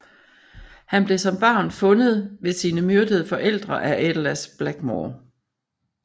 Han blev som barn fundet ved sine myrdede forældre af Aedelas Blackmoore